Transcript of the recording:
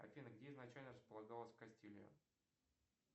афина где изначально располагалась кастилия